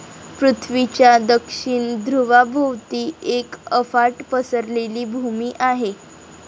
पृथ्वीच्या दक्षिण धृवाभोवती एक अफाट पसरलेली भूमी आहे.